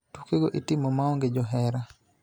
Tukego itimo maonge johera,